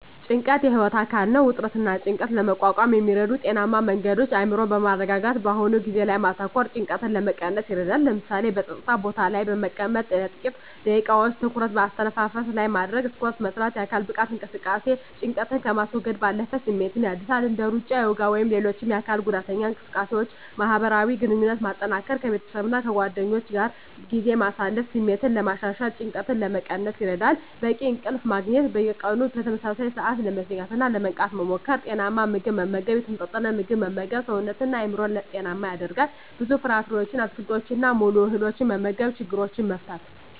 ጭንቀት የህይወት አካል ነው። ውጥረትንና ጭንቀትን ለመቋቋም የሚረዱ ጤናማ መንገዶች አእምሮን በማረጋጋት በአሁኑ ጊዜ ላይ ማተኮር ጭንቀትን ለመቀነስ ይረዳል። ለምሳሌ፣ በጸጥታ ቦታ ላይ በመቀመጥ ለጥቂት ደቂቃዎች ትኩረትን በአተነፋፈስ ላይ ማድረግ። ስፖርት መስራት: የአካል ብቃት እንቅስቃሴ ጭንቀትን ከማስወገድ ባለፈ ስሜትን ያድሳል። እንደ ሩጫ፣ ዮጋ ወይም ሌሎች የአካል ጉዳተኛ ስፖርቶችን ማህበራዊ ግንኙነትን ማጠናከር ከቤተሰብና ከጓደኞች ጋር ጊዜ ማሳለፍ ስሜትን ለማሻሻልና ጭንቀትን ለመቀነስ ይረዳል። በቂ እንቅልፍ ማግኘት። በየቀኑ በተመሳሳይ ሰዓት ለመተኛትና ለመንቃት መሞከር። ጤናማ ምግብ መመገብ የተመጣጠነ ምግብ መመገብ ሰውነትንና አእምሮን ጤናማ ያደርጋል። ብዙ ፍራፍሬዎችን፣ አትክልቶችንና ሙሉ እህሎችን መመገብ። ችግሮችን መፍታት።